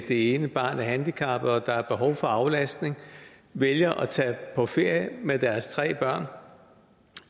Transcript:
det ene barn er handicappet og hvor der er behov for aflastning vælger at tage på ferie med deres tre børn